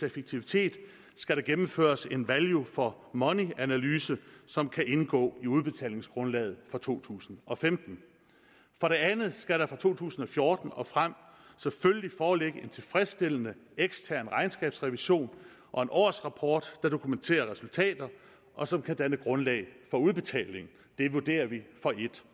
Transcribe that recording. effektivitet skal der gennemføres en value for money analyse som kan indgå i udbetalingsgrundlaget for to tusind og femten for det andet skal der for to tusind og fjorten og frem selvfølgelig foreligge en tilfredsstillende ekstern regnskabsrevision og en årsrapport der dokumenterer resultater og som kan danne grundlag for udbetalingen det vurderer vi for en